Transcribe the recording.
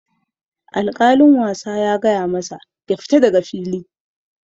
Alkalin wasa ya gaya masa "Ya fita daga fili"!,